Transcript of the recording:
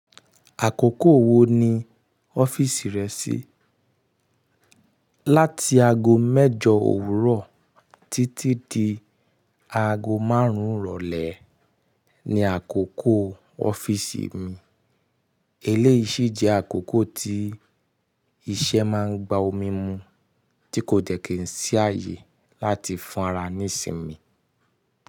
Àkókò wo ni ọ́fíìsì rẹ ṣí? Láti ago mẹ́jọ òwúrọ̀ títí di ago márùn-ún ìrọ̀lẹ́ ni àkókò ọ́fíìsì mi. Eléyìí sì jẹ́ àkókò tí iṣẹ́ máa ń gba omi mú, tí kò dẹ̀ kín sí ààyè láti fún ara nísinmi.